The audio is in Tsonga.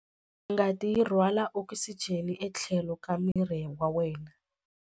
Ngati yi rhwala okisijeni etlhelo ka miri wa wena.